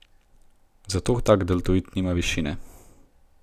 Zato tak deltoid nima višine.